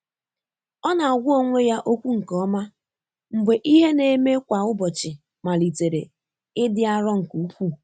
Ọ́ nà-àgwá ónwé yá ókwú nké ọ́mà mgbè ìhè nà-émé kwá ụ́bọ̀chị̀ màlị́tèrè ị́dị́ áró nké úkwúù.